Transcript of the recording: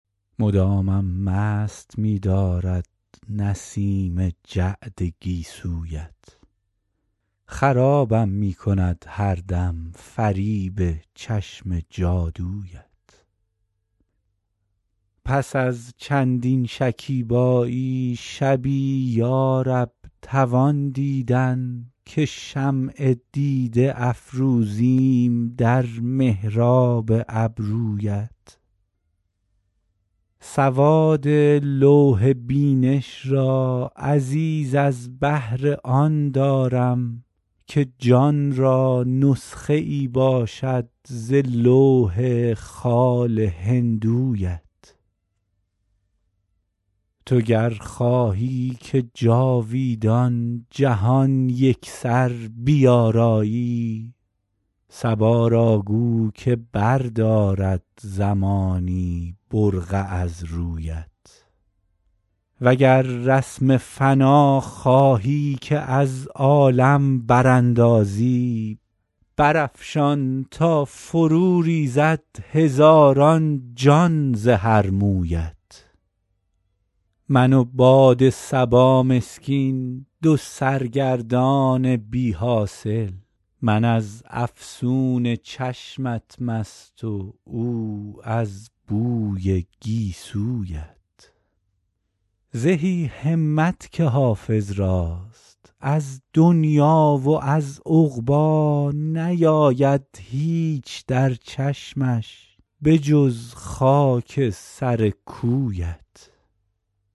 مدامم مست می دارد نسیم جعد گیسویت خرابم می کند هر دم فریب چشم جادویت پس از چندین شکیبایی شبی یا رب توان دیدن که شمع دیده افروزیم در محراب ابرویت سواد لوح بینش را عزیز از بهر آن دارم که جان را نسخه ای باشد ز لوح خال هندویت تو گر خواهی که جاویدان جهان یکسر بیارایی صبا را گو که بردارد زمانی برقع از رویت و گر رسم فنا خواهی که از عالم براندازی برافشان تا فروریزد هزاران جان ز هر مویت من و باد صبا مسکین دو سرگردان بی حاصل من از افسون چشمت مست و او از بوی گیسویت زهی همت که حافظ راست از دنیی و از عقبی نیاید هیچ در چشمش به جز خاک سر کویت